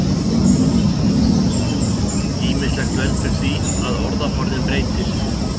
Ýmislegt veldur því að orðaforðinn breytist.